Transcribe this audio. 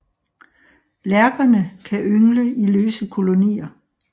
Lærkerne kan yngle i løse kolonier